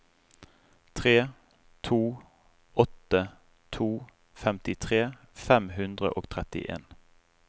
tre to åtte to femtitre fem hundre og trettien